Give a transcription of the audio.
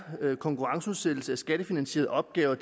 konkurrenceudsættelse af skattefinansierede opgaver